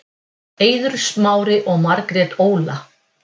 Eiður Smári og Margrét Óla